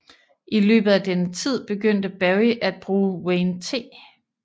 I løbet af denne tid begyndte Berry at bruge Wayne T